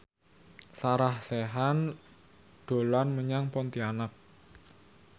Sarah Sechan dolan menyang Pontianak